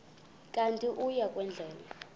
kanti uia kwendela